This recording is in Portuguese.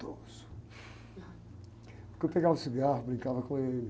Porque eu pegava o cigarro, brincava com ele.